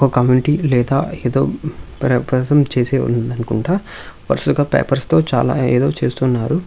ఒక కమిటీ లేదా ఏదో చేసే ఉంది అనుకుంటా వరుసగా పేపర్స్ తో చాలా ఏదో చేస్తున్నారు.